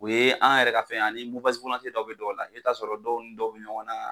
U ye an yɛrɛ ka fɛn ye ani dɔ bɛ dɔw la i bɛ t'a sɔrɔ dɔw ni dɔw bɛ ɲɔgɔnna.